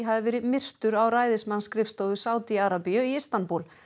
hafi verið myrtur á ræðismannsskrifstofu Sádi Arabíu í Istanbúl